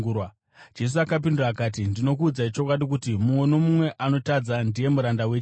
Jesu akapindura akati, “Ndinokuudzai chokwadi kuti, mumwe nomumwe anotadza ndiye muranda wechivi.